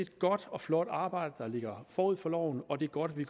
godt og flot arbejde der ligger forud for loven og det er godt at vi